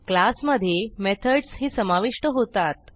class मधे methods ही समाविष्ट होतात